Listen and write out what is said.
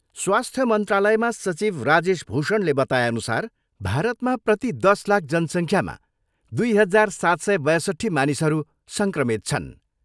स्वाथ्य मन्त्रालयमा सचिव राजेश भूषणले बताएअनुसार भारतमा प्रति दस लाख जनसङ्ख्यामा दुई हजार, सात सय बयछट्ठी मानिसहरू सङ्क्रमित छन्।